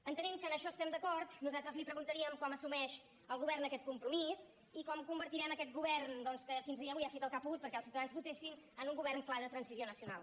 entenent que en això estem d’acord nosaltres li pre·guntaríem com assumeix el govern aquest compro·mís i com convertirem aquest govern doncs que fins al dia d’avui ha fet el que ha pogut perquè els ciuta·dans votessin en un govern clar de transició nacional